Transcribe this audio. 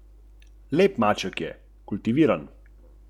To doživljam kot milost in dar in to sprejemam.